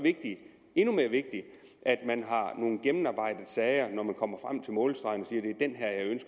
endnu mere vigtigt at man har nogle gennemarbejdede sager når man kommer frem til målstregen